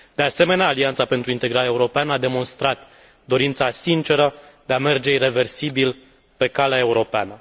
De asemenea, Alianța pentru Integrare Europeană a demonstrat dorința sinceră de a merge ireversibil pe calea europeană.